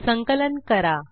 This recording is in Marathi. संकलन करा